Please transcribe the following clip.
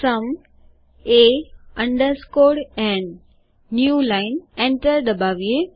sum એ underscore ન new lineએન્ટર દબાવીએ